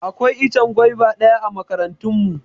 Akwai ichen gwaiva daya a makarantan mu.